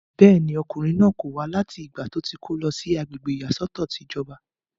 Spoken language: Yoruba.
bẹ́ẹ̀ni, ọkùnrin náà kò wá láti ìgbà tó ti kó lọ sí agbègbè ìyàsọ́tọ̀ ìjọba